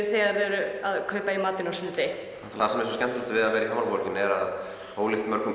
þegar þau eru að kaupa í matinn á sunnudegi og það sem er svo skemmtilegt við að vera í Hamraborginni er að ólíkt mörgum